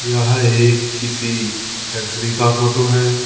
यह एक किसी फैक्ट्री का फोटो है।